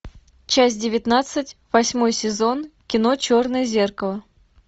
часть девятнадцать восьмой сезон кино черное зеркало